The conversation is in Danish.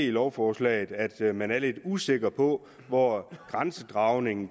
af lovforslaget at man er lidt usikker på hvor grænsedragningen